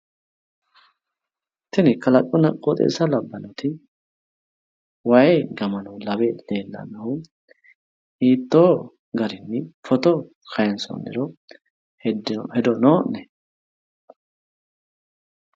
Tini kalaqunna qoixeessa labbannoti wayi gamano lawe leellannohu hiitto garinni fito kayinsoonniro hedo noo'ne?